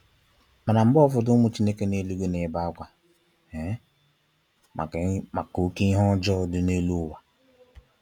Mana mgbe ụfọdụ ụmụ Chineke n'eluigwe n'ebe akwa um maka oke ihe ọjọọ di n'elu ụwa.